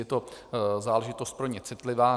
Je to záležitost pro ně citlivá.